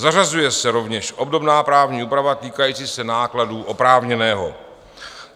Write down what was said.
Zařazuje se rovněž obdobná právní úprava týkající se nákladů oprávněného.